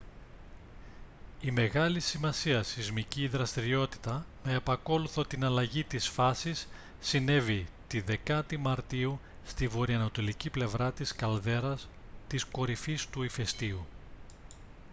η μεγάλης σημασίας σεισμική δραστηριότητα με επακόλουθο την αλλαγή της φάσης συνέβη τη 10η μαρτίου στη βορειανατολική πλευρά της καλδέρας της κορυφής του ηφαιστείου